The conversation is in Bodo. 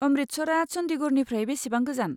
अमृतसरआ चन्डीगढ़निफ्राय बेसेबां गोजान?